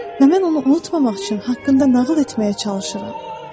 Və mən onu unutmamaq üçün haqqında nağıl etməyə çalışıram.